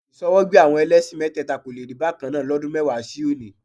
Ìṣọwọ́gbé àwọn ẹlẹ́ṣin mẹ́tẹ́ẹ̀ta kò le rí bákan náà lọ́dún mẹ́wàá sí òní